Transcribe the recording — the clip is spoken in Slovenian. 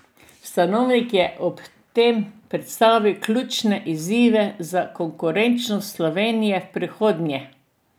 Stanovnik je ob tem predstavil ključne izzive za konkurenčnost Slovenije v prihodnje.